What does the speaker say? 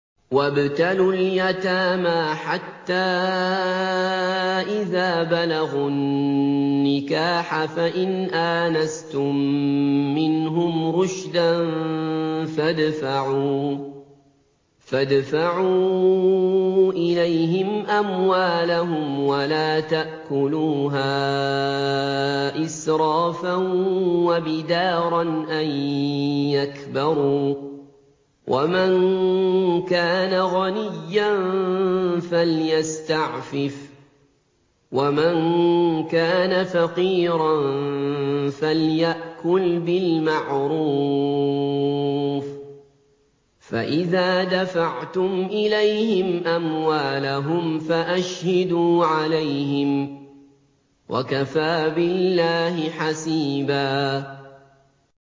وَابْتَلُوا الْيَتَامَىٰ حَتَّىٰ إِذَا بَلَغُوا النِّكَاحَ فَإِنْ آنَسْتُم مِّنْهُمْ رُشْدًا فَادْفَعُوا إِلَيْهِمْ أَمْوَالَهُمْ ۖ وَلَا تَأْكُلُوهَا إِسْرَافًا وَبِدَارًا أَن يَكْبَرُوا ۚ وَمَن كَانَ غَنِيًّا فَلْيَسْتَعْفِفْ ۖ وَمَن كَانَ فَقِيرًا فَلْيَأْكُلْ بِالْمَعْرُوفِ ۚ فَإِذَا دَفَعْتُمْ إِلَيْهِمْ أَمْوَالَهُمْ فَأَشْهِدُوا عَلَيْهِمْ ۚ وَكَفَىٰ بِاللَّهِ حَسِيبًا